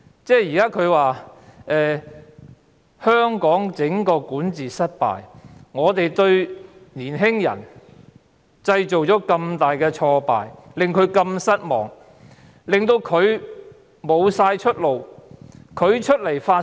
整個香港管治失敗，令年輕人大感挫敗，令他們如此失望，令到他們喪失出路。